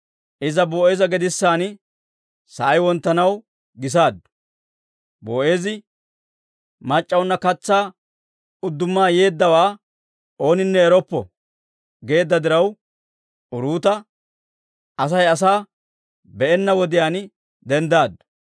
Iza Boo'eeza gedissanna sa'ay wonttanaw gisaaddu; Boo'eezi, «Mac'c'aanna katsaa udduma yeeddawaa ooninne eroppo» geedda diraw, Uruuta Asay asaa be'enna wodiyaan denddaddu.